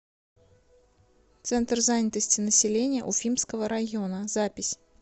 центр занятости населения уфимского района запись